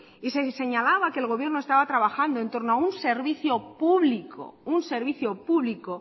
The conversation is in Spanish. y se señalaba que el gobierno estaba trabajando entorno a un servicio público un servicio público